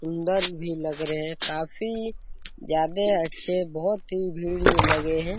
सुन्दर भी लग रहे है काफी ज्यादा अच्छे बहुत ही भीड़ लगे है ।